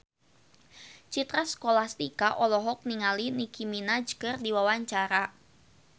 Citra Scholastika olohok ningali Nicky Minaj keur diwawancara